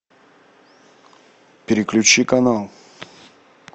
переключи канал